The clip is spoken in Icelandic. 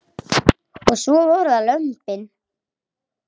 Og svo voru það lömbin.